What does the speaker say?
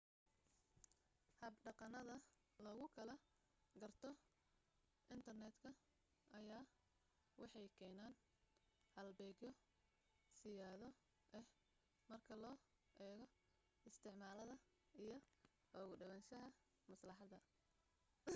habdhaqanada lagu kala garto intarneedka ayaa waxay keenaan halbeegyo siyaado ah marka loo eego isticmaalada iyo ugu dhawaanshaha maslaxadda